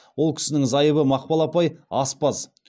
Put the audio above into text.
ол кісінің зайыбы мақпал апай аспаз